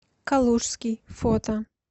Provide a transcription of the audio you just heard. калужский фото